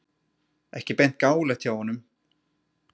Ekki beint gáfulegt hjá honum!